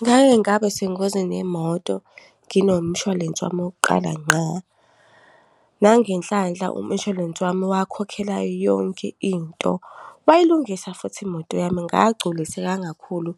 Ngake ngaba sengozini yemoto nginomshwalense wami wokuqala ngqa. Nangenhlanhla, umshwalense wami wakhokhela yonke into, wayilungisa futhi imoto yami ngagculiseka kakhulu